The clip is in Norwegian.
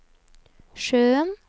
sjøen